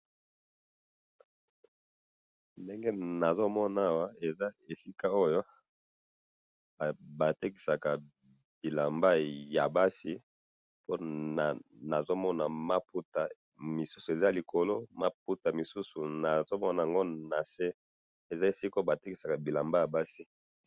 Ndenge nazo mona awa eza esika oyo batekisaka bilamba ya basi, po nazo mona maputa ,misusu eza likolo maputa misusu nazo mona'ngo na se, eza esika oyo batekisaka bilamba ya basi